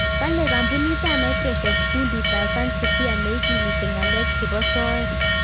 Kale kampunit ab Microsoft kundit ab "Fancy Bear " neikimiti ng'alek chebo soet